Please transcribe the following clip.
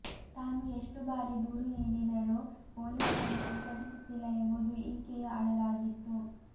ತಾನು ಎಷ್ಟು ಬಾರಿ ದೂರು ನೀಡಿದರೂ ಪೊಲೀಸರು ಸ್ವೀಕರಿಸುತ್ತಿಲ್ಲ ಎಂಬುದು ಈಕೆಯ ಅಳಲಾಗಿತ್ತು